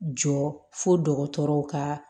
Jɔ fo dɔgɔtɔrɔw ka